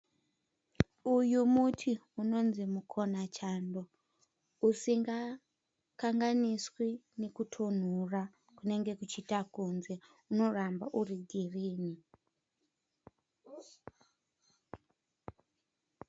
Uyu muti unonzi mukonachando usingakanganiswi nekutonhora kunenge kuchiita kunze. Unoramba uri girini.